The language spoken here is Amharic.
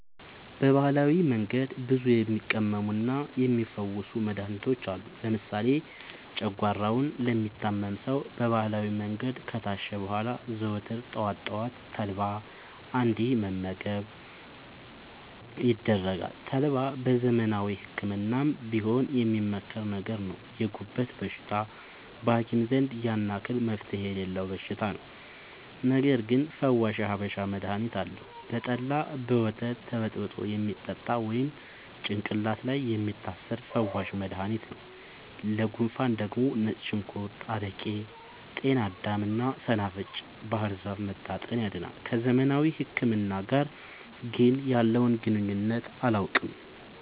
በባህላዊ መንገድ ብዙ የሚቀመሙና የሚ ፈውሱ መድሀኒቶች አሉ። ለምሳሌ ጨጓሯውን ለሚታመም ሰው በባህላዊ መንገድ ከታሸ በኋላ ዘወትር ጠዋት ጠዋት ተልባ እንዲ መገብ ይደረጋል ተልባ በዘመናዊ ህክምናም ቢሆን የሚመከር ነገር ነው። የጉበት በሽታ በሀኪም ዘንድ ያን አክል መፍትሄ የሌለው በሽታ ነው። ነገርግን ፈዋሽ የሀበሻ መድሀኒት አለው። በጠላ፣ በወተት ተበጥብጦ የሚጠጣ ወይም ጭቅላት ላይ የሚታሰር ፈዋሽ መደሀኒት ነው። ለጉንፉን ደግሞ ነጭ ሽንኩርት አረቄ ጤናዳም እና ሰናፍጭ ባህርዛፍ መታጠን ያድናል።። ከዘመናዊ ህክምና ጋር ግን ያለውን ግንኙነት አላውቅም።